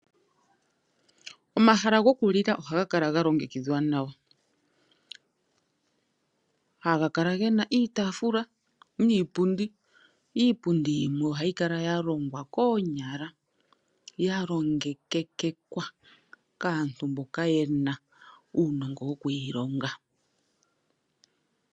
Omahala gokulila ohaga kala galongekidhwa nawa, haga kala gena iitafula niipundi, iipundi ohayi kala yalongwa koonyala yalongekekwa kaantu mboka yena uunongo wokuyilonga.